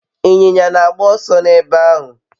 Inyinya na agba oso n'ebe ahu